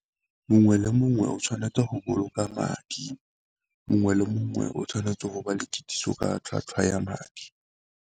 Mongwe le mongwe o tshwanetse go boloka madi, mongwe le mongwe o tshwanetse go ba le kitsiso ka tlhwatlhwa ya madi.